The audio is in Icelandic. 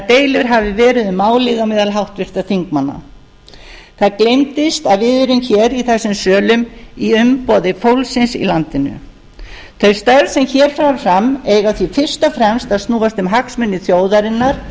deilur hafi verið um málið á meðal háttvirtra þingmanna það gleymdist að við erum hér í þessum sölum í umboði fólksins í landinu þau störf sem hér fara fram eiga því fyrst og fremst að snúast um hagsmuni þjóðarinnar